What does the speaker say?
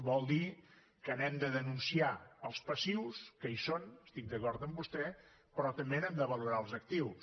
vol dir que n’hem de denunciar els passius que hi són estic d’acord amb vostè però també n’hem de valorar els actius